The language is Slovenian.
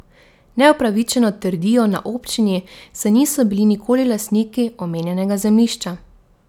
Neupravičeno, trdijo na občini, saj niso bili nikoli lastniki omenjenega zemljišča.